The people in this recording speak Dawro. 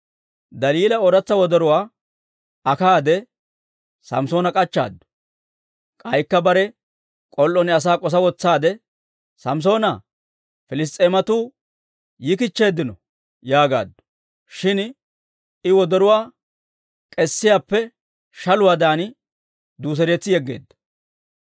Daliila ooratsa wodoruwaa akkaade, Samssoona k'achchaaddu. K'aykka bare k'ol"on asaa k'osa wotsaade, «Samssoona, Piliss's'eematuu yikichcheeddino» yaagaaddu. Shin I wodoruwaa k'esiyaappe shaluwaadan duuseretsi yegeedda.